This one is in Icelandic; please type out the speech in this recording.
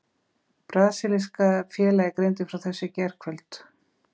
Brasilíska félagið greindi frá þessu í gærkvöld.